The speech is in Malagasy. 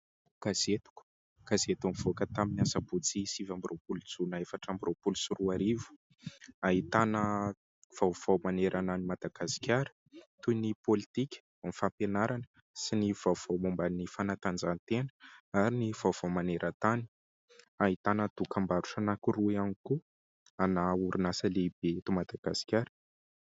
Gazetiko gazety nivoaka tamin'ny asabotsy sivy amby roapolo jolay efatra amby roapolo sy roa arivo. Ahitana vaovao manerana any Madagasikara toy ny pôlitika, ny fampianarana sy ny vaovao mombany fanatanjahantena ary ny vaovao maneran-tany ahitana dokam-barotra anankiroa ihany koa ana orinasa lehibe eto Madagasikara.